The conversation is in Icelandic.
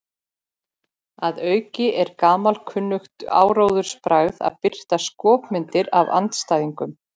Að auki er gamalkunnugt áróðursbragð að birta skopmyndir af andstæðingnum.